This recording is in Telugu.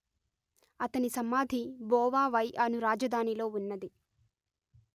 అతని సమాధి బొవా వై అను రాజధానిలో ఉన్నది